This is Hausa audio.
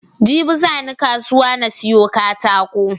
Jibi zani kasuwa na siyo katako